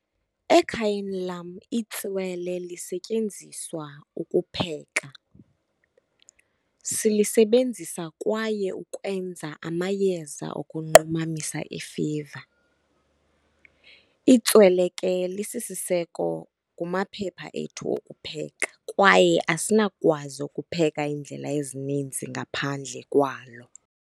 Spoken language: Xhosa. Ekhayeni lam itswele lisetyenziswa ukupheka, silisebenzisa kwaye ukwenza amayeza ukunqumamisa ifiva. Itswele ke lisisiseko kumaphepha ethu okupheka kwaye asinakukwazi ukupheka iindlela ezininzi ngaphandle kwalo.